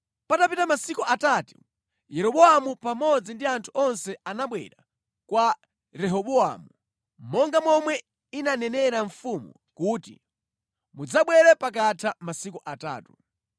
Patapita masiku atatu, Yeroboamu pamodzi ndi anthu onse anabwera kwa Rehobowamu, monga momwe inanenera mfumu kuti, “Mudzabwere pakatha masiku atatu.”